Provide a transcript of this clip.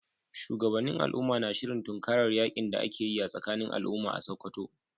Shugabannin al’umma na shirin tunkarar yakin da ake yi tsakanin al’umma a Sakkwato.